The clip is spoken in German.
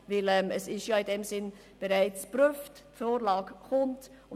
Es ist bereits geprüft worden, und die Vorlage kommt zur Abstimmung.